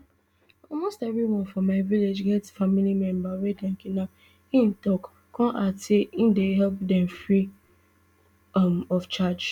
almost evri one for my village get family member wey dem kidnap im tok kon add say im dey help dem free um of charge um